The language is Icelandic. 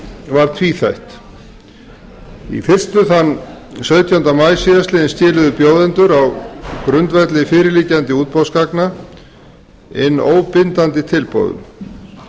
var tvíþætt í fyrstu þann sautjánda maí síðastliðinn skýrðu bjóðendur á grundvelli fyrirliggjandi útboðsgagna inn óbindandi tilboðum